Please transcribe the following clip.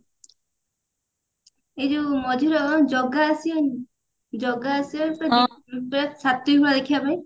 ଏଇ ଯଉ ମଝିର ଜଗା ଆସିଅ ଜଗା ଆସିଅ ଦେଖିବା ପାଇଁ